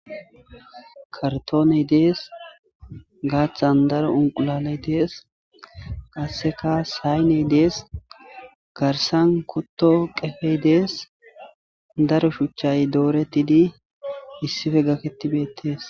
Kartoneydees qasika gathan daro unqulaley dees sahiney dees garsan kuto qrfey dees daro shuchay doretidi issippe gaketidi dees.